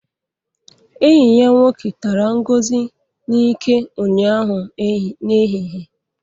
Enyi ya nwoke tara Ngozi n'ike ụnyaahụ n'ehihie